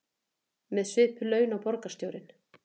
Með svipuð laun og borgarstjórinn